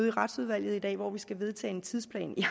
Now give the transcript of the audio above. i retsudvalget i dag hvor vi skal vedtage en tidsplan jeg